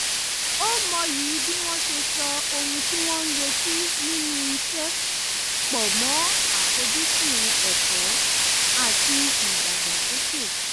ó mọyì bí wọ́n ṣe so ohun tí wọ́n ń retí nínú iṣẹ́ pọ̀ mọ́ àfoj́sùn ẹ̀kọ́ àti ìdàgbàsókè